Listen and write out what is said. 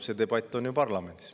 See debatt on ju parlamendis.